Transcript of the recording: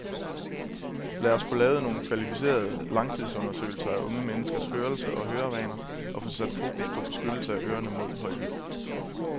Lad os få lavet nogle kvalificerede, langtidsundersøgelser af unge menneskers hørelse og hørevaner og få sat fokus på beskyttelse af ørerne mod høj lyd.